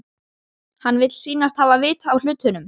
Hann vill sýnast hafa vit á hlutunum.